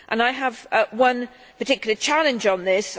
I have one particular challenge on this.